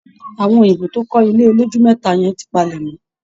Àwọn òyìnbó tó kọ́ ilé olójúlé mẹ́ta yẹn ti palẹ̀ mọ́